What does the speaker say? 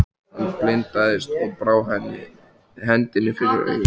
Hann blindaðist og brá hendinni fyrir augun.